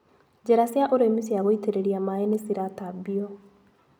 Njĩra cia ũrĩmi cia gũutĩrĩria maĩ nĩciratambio.